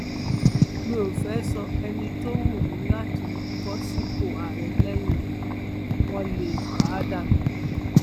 mi ò fẹẹ sọ ẹni tó wù mí láti bọ sípò àárẹ lẹyìn mi wọn lè pa á dànù